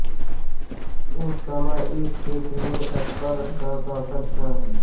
उस समय इस क्षेत्र में अकबर का शासन था